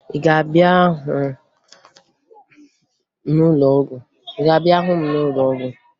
Ị ga-abịa hụ m n'ụlọọgwụ?